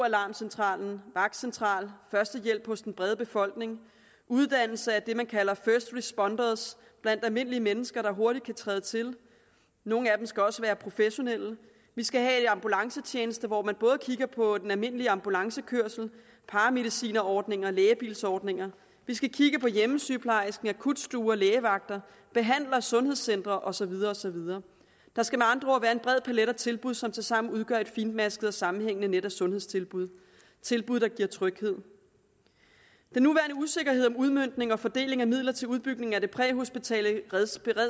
alarmcentral vagtcentral førstehjælp hos den brede befolkning uddannelse af det man kalder first responders blandt almindelige mennesker der hurtigt kan træde til nogle af dem skal også være professionelle vi skal have en ambulancetjeneste hvor man både kigger på den almindelige ambulancekørsel paramedicinerordninger og på lægebilsordninger vi skal kigge på hjemmesygepleje akutstuer lægevagter behandlere og sundhedscentre og så videre og så videre der skal med andre ord være en bred palet af tilbud som tilsammen udgør et fintmasket og sammenhængende net af sundhedstilbud tilbud der giver tryghed den nuværende usikkerhed om udmøntning og fordeling af midler til udbygning af det præhospitale beredskab